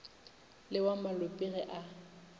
le wa malope ge a